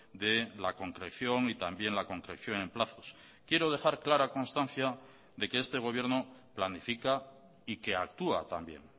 de la concreción y también la concreciónen plazos quiero dejar clara constancia de que este gobierno planifica y que actúa también